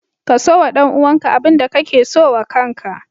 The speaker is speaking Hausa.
Kaso wa ɗan uwanka abinda kake so wa kanka